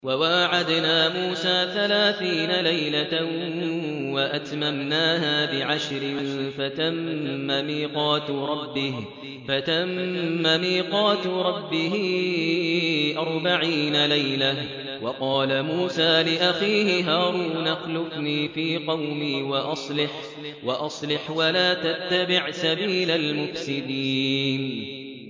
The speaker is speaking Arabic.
۞ وَوَاعَدْنَا مُوسَىٰ ثَلَاثِينَ لَيْلَةً وَأَتْمَمْنَاهَا بِعَشْرٍ فَتَمَّ مِيقَاتُ رَبِّهِ أَرْبَعِينَ لَيْلَةً ۚ وَقَالَ مُوسَىٰ لِأَخِيهِ هَارُونَ اخْلُفْنِي فِي قَوْمِي وَأَصْلِحْ وَلَا تَتَّبِعْ سَبِيلَ الْمُفْسِدِينَ